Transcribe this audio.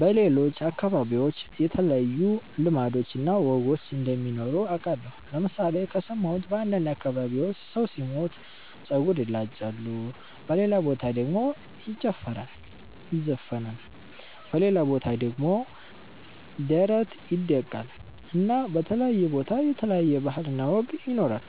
በሌሎች አከባቢዎች የተለዩ ልማዶች እና ወጎች እንደሚኖሩ አቃለሁ ለምሣሌ ከሠማሁት በአንዳንድ አከባቢዎች ሠው ሢሞት ጸጉር ይላጫሉ በሌላ በታ ደሞ ይጨፈራል ይዘፍናል በሌላ ቦታ ደሞ ደረት ይደቃል እና በተለያየ ቦታ የተለያየ ባህል እና ወግ ይኖራል።